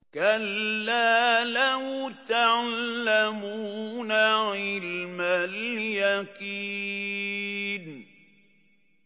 كَلَّا لَوْ تَعْلَمُونَ عِلْمَ الْيَقِينِ